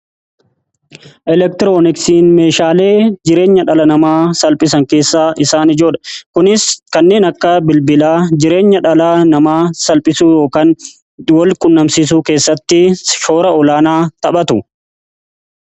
Elektirooniksiin meeshaalee jireenya dhala namaa salphisan keessaa isaan ijoodha. Kunis kanneen akka bilbilaa jireenya dhala namaa salphisuu ykn walquunnamsiisuu keessatti shoora olaanaa taphatu.